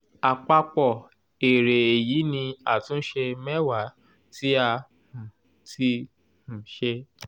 àpapọ̀ èrè èyí ni àtúnṣe mẹwa tí a um ti um ṣe.